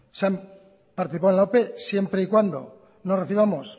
han participado en la ope siempre y cuando no recibamos